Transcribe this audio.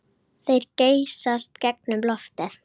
Þeir geysast gegnum loftið.